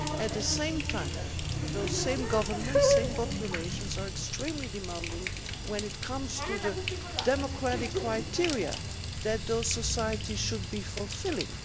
At the same time, these same governments, same populations, are extremely demanding when it comes to the democratic criteria that those societies should be fulfilling.